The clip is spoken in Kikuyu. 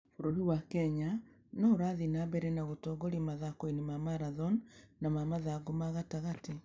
Bũrũri wa Kenya no ũrathiĩ na mbere na gũtongoria mathako-inĩ ma marathon na ma mathangũ ma gatagatĩ.